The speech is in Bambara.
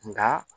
Nka